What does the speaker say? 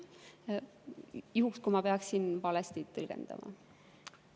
Seda ütlesin juhuks, kui ma peaksin valesti tõlgendanud olema.